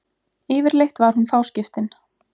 Yfirleitt var hún fáskiptin.